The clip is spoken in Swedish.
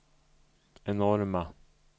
enorma